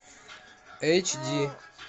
эйч ди